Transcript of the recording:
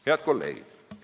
Head kolleegid!